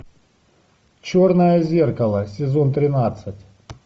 черное зеркало сезон тринадцать